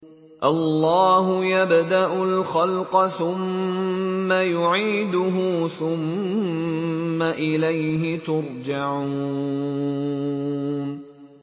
اللَّهُ يَبْدَأُ الْخَلْقَ ثُمَّ يُعِيدُهُ ثُمَّ إِلَيْهِ تُرْجَعُونَ